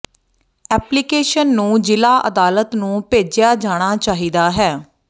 application ਨੂੰ ਜ਼ਿਲਾ ਅਦਾਲਤ ਨੂੰ ਭੇਜਿਆ ਜਾਣਾ ਚਾਹੀਦਾ ਹੈ